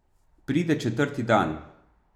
Pride četrti dan.